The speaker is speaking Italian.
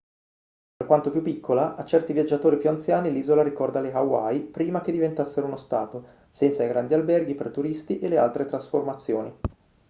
per quanto più piccola a certi viaggiatori più anziani l'isola ricorda le hawaii prima che diventassero uno stato senza i grandi alberghi per turisti e le altre trasformazioni